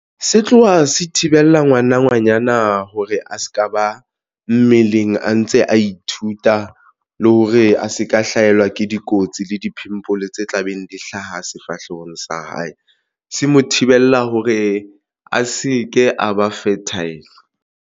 Se tloha se thibela ngwana ngwanyana hore a se ka ba mmeleng a ntse a ithuta, le hore a se ka hlahelwa ke dikotsi le di-pimpel tse tla beng di hlaha sefahlehong sa hae. Se mo thibella hore a se ke a ba fertile.